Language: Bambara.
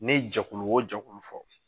Ne jɛkulu o jɛkulu fɔ